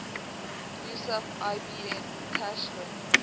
yusuf ibn tashfin